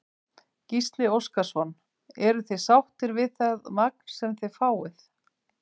Gísli Óskarsson: Eruð þið sáttir við það magn sem þið fáið?